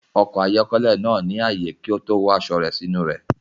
Ọkọ̀ ayọ́kẹ́lẹ́ náà ní ààyè kí ó tó wọ aṣọ rẹ̀ sínú rẹ̀.